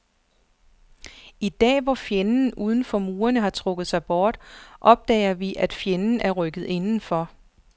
I dag, hvor fjenden uden for murene har trukket sig bort, opdager vi, at fjenden er rykket indenfor.